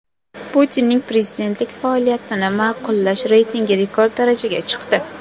Putinning prezidentlik faoliyatini ma’qullash reytingi rekord darajaga chiqdi.